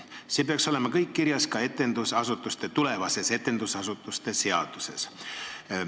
See peaks kõik kirjas olema tulevases etendusasutuste seaduses.